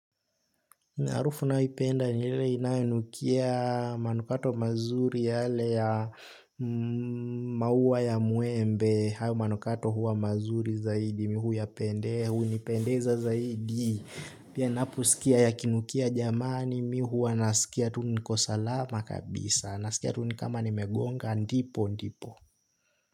Harufu ninayoipenda ni ile inayonukia manukato mazuri yale ya maua ya mwembe, hayo manukato huwa mazuri zaidi, mi huyapendea, hunipendeza zaidi. Pia ninaposikia yakinukia jamani, mi huwa nasikia tu niko salama kabisa, nasikia tu ni kama nimegonga, ndipo ndipo.